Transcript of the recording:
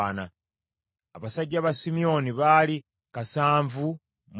abasajja ba Simyoni, baali kasanvu mu kikumi;